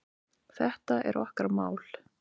Þetta er okkar mál.